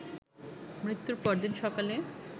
মৃত্যুর পরদিন সকালে